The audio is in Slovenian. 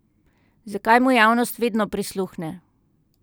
Zakaj mu javnost vedno prisluhne?